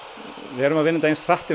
við erum að vinna þetta eins fljótt